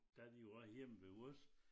Der de jo var hjemme ved os